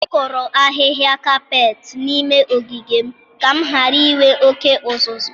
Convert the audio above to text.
M kụrụ ahịhịa kapet n'ime ogige m ka m ghara inwe oke uzuzu.